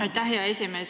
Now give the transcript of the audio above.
Aitäh, hea esimees!